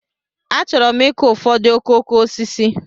Achọrọ m ịkụ ụfọdụ okooko osisi.